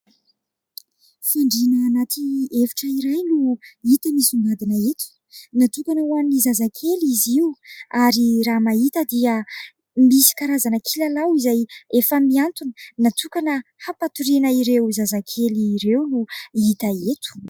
Fandriana anaty efitra iray no hita misongadina eto, natokana ho an'ny zazakely izy io ary raha mahita dia misy karazana kilalao izay efa miantona natokana hampatoriana ireo zazakely ireo no hita eto